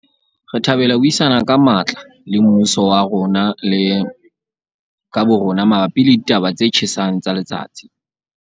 Re thabela ho buisana ka matla le mmuso wa rona le ka bo rona mabapi le ditaba tse tjhesang tsa letsatsi.